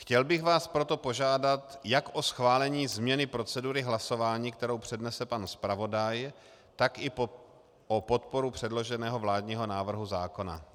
Chtěl bych vás proto požádat jak o schválení změny procedury hlasování, kterou přednese pan zpravodaj, tak i o podporu předloženého vládního návrhu zákona.